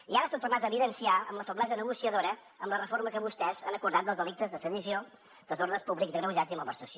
i ara s’ha tornat a evidenciar amb la feblesa negociadora amb la reforma que vostès han acordat dels delictes de sedició desordres públics agreujats i malversació